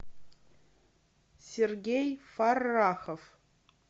сергей фаррахов